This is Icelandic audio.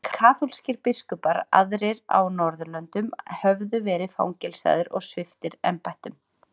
Allir kaþólskir biskupar aðrir á norðurlöndum höfðu verið fangelsaðir og sviptir embættum.